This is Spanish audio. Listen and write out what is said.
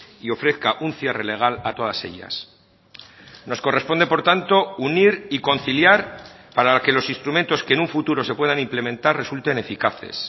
y ofrezca un cierre legal a todas ellas nos corresponde por tanto unir y conciliar para que los instrumentos que en un futuro se puedan implementar resulten eficaces